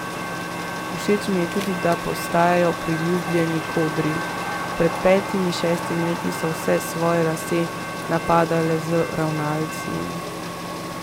Všeč mu je tudi, da postajajo priljubljeni kodri: 'Pred petimi, šestimi leti so vse svoje lase napadale z ravnalci.